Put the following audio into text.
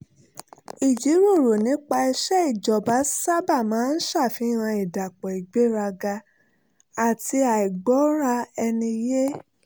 ìjíròrò nípa iṣẹ́ ìjọba sábà máa ń ṣàfihàn ìdàpọ̀ ìgbéraga àti àìgbọ́ra-ẹni-yé